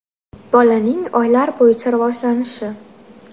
Bolaning oylar bo‘yicha rivojlanishi.